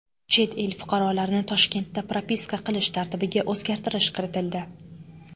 Chet el fuqarolarini Toshkentda propiska qilish tartibiga o‘zgartirish kiritildi.